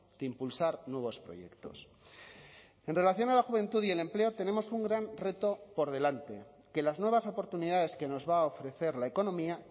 de impulsar nuevos proyectos en relación a la juventud y el empleo tenemos un gran reto por delante que las nuevas oportunidades que nos va a ofrecer la economía